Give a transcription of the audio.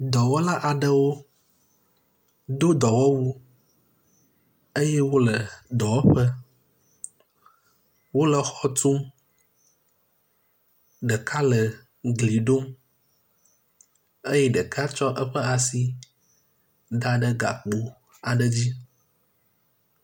dɔwɔla aɖewo do dɔwɔwu eye wóle dɔwɔƒe wóle xɔtum ɖeka le gli ɖom eye ɖeka tsɔ eƒe asi daɖe gakpo aɖe dzi